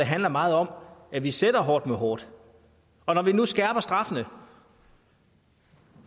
handler meget om at vi sætter hårdt mod hårdt og når vi nu skærper straffene